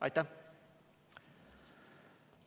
Aitäh!